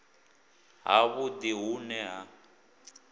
ha vhudi hu ne ha